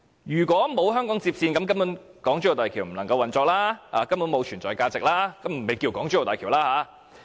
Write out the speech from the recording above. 如果沒有香港接線，港珠澳大橋根本便無法運作、沒有存在價值，亦不會稱作港珠澳大橋。